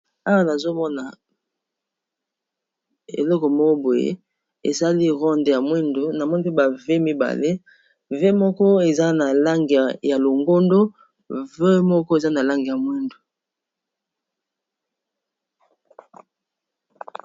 awa nazomona eleko moboye esali ronde ya mwindu na moni pe bav mibale v moko eza na lange ya longondo v moko eza na lange ya mwindu